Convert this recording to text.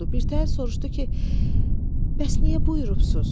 Birtəhər soruşdu ki, bəs niyə buyurubsuz?